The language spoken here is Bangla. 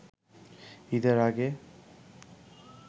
ঈদের আগে